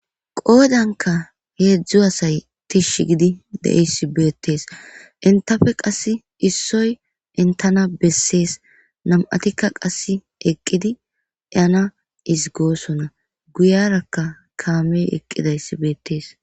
Qoodanka heedzdzu asay tish gidi deessi beettees intafe qass issoy intana bessees nam7atikka qasse eqqidi yana is goosonna guyarakka kaamey eqqidayssi beettees.